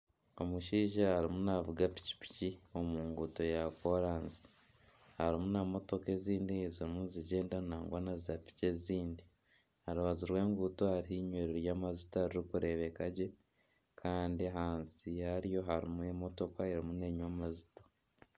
Omushaija arimu naavuga pikipiki omu nguuto ya kooransi harimu emotoka ezirimu nizigyenda nangwa na piki ezindi, aha rubaju rw'enguuto hariho inywero ry'amajuta ririkureebeka gye nagwa na zaapiki ezindi kandi ahansi yarwo harimu emotoka erimu neenywa amajuta